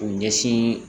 K'u ɲɛsin